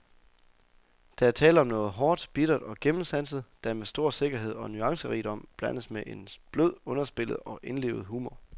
Der er tale om noget hårdt, bittert og gennemsanset, der med stor sikkerhed og nuancerigdom blandes med en blød, underspillet og indlevet humor.